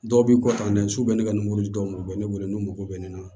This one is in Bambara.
Dɔw b'i kɔtan su u bɛ ne ka nin mobili dɔw bɛ ne wele n'u mago bɛ ne na